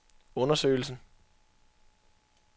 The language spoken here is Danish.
undersøgelsen